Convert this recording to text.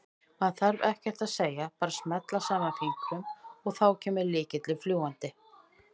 Maður þarf ekkert að segja, bara smella saman fingrunum og þá kemur lykillinn fljúgandi!